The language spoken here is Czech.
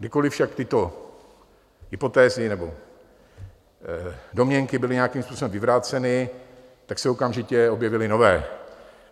Kdykoliv však tyto hypotézy nebo domněnky byly nějakým způsobem vyvráceny, tak se okamžitě objevily nové.